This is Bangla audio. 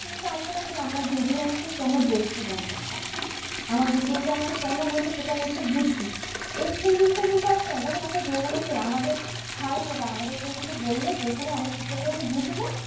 চাইবে না যে আমার দিদি আমাকে কেন বলছে ব্যাপারটা? আমার দিদি এটা আমাকে কেন বলছে? সেটা আমি একটু বুঝি। এই thinking টা কিন্তু আসবে না। যেমন একটা যৌবনের ছেলে আমাদের স্বাভাবিক ব্যাপার আমাদের কেউ কিছু বললে বোঝালে আমরা ঠিকঠাক যেরকম বুঝবো